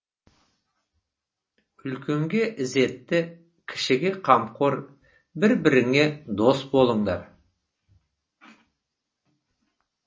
үлкенге ізетті кішіге қамқор бір біріңе дос болыңдар